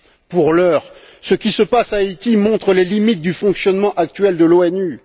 Pour l'heure, ce qui se passe en Haïti montre les limites du fonctionnement actuel de l'ONU.